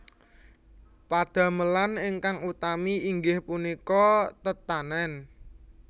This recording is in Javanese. Padamelan ingkang utami inggih punika tetanèn